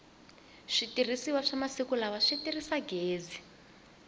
switirhisiwa swa masiku lala si tirhisa gezi